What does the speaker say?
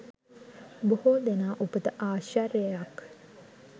බොහෝ දෙනා උපත ආශ්චර්යයක්,